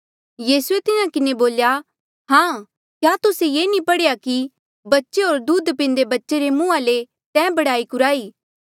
यीसू ये तिन्हा किन्हें बोल्या हां क्या तुस्से ये कधी नी पढ़ेया कि बच्चे होर दूध पिन्दे बच्चे रे मुंहा ले तैं बड़ाई कुराई